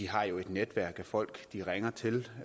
har jo et netværk af folk de ringer til